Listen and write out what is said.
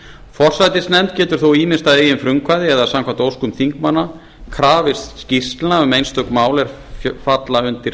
forsætisnefnd getur þó ýmist að eigin frumkvæði eða samkvæmt óskum þingmanna krafist skýrslna um einstök mál er falla undir